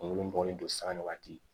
Kungolo bɔlen don sanni waati